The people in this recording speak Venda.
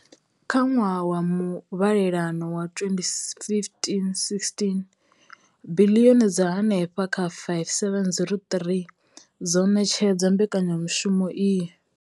Kha ṅwaha wa muvhalelano wa 2015, 16, biḽioni dza henefha kha R5 703 dzo ṋetshedzwa mbekanyamushumo iyi.